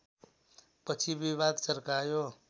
पछि विवाद चर्कायो